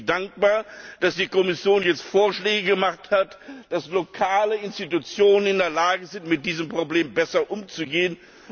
Deswegen bin ich dankbar, dass die Kommission jetzt Vorschläge gemacht hat, damit lokale Institutionen in der Lage sind, mit diesem Problem besser umzugehen.